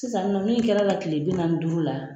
Sisan nin nɔ min kɛr'a la kile bi naani ni duuru la,